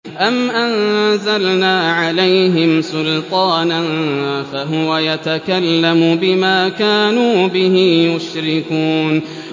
أَمْ أَنزَلْنَا عَلَيْهِمْ سُلْطَانًا فَهُوَ يَتَكَلَّمُ بِمَا كَانُوا بِهِ يُشْرِكُونَ